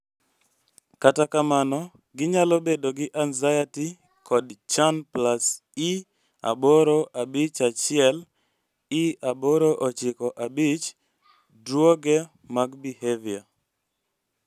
kata kamano, ginyalo bedogi anxiety kod chan+E851:E895druoge mag behavior